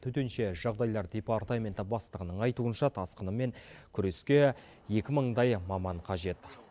төтенше жағдайлар департаменті бастығының айтуынша тасқынмен күреске екі мыңдай маман қажет